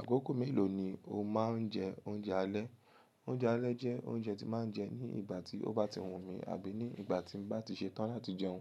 Àkókò mélòó ni o máa ń jẹ oúnjẹ alẹ́? Oúnjẹ alẹ́ jẹ́ oúnjẹ tí màá ń jẹ ní ìgbà tí ó bá ti wù mí àbí ní ìgbà tí n bá ti ṣe tán láti jẹun.